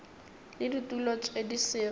le ditulo tše di sego